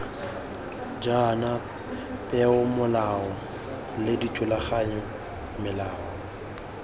jaana peomolao le dithulaganyo melao